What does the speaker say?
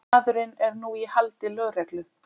Maðurinn er nú í haldi lögreglu